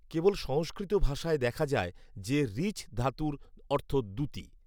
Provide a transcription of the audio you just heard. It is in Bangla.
কেবল সংস্কৃত ভাষায় দেখা যায় যে ঋচ্ ধাতুর অর্থ দ্যুতি